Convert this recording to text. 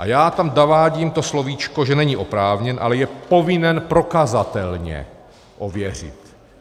A já tam zavádím to slovíčko, že není oprávněn, ale je povinen prokazatelně ověřit.